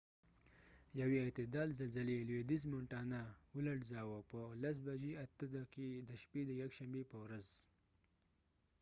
یوې اعتدال زلزلې لویدیز مونټانا ولړزاوه په ۱۰:۰۸ د شپي د يکشنبي په ورځ